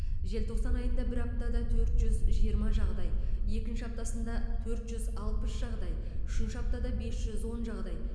желтоқсан айында бір аптада төрт жүз жиырма жағдай екінші аптасында төрт жүз алпыс жағдай үшінші аптада бес жүз он жағдай